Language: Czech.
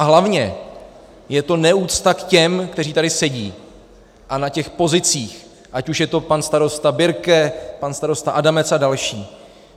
A hlavně je to neúcta k těm, kteří tady sedí, a na těch pozicích, ať už je to pan starosta Birke, pan starosta Adamec a další.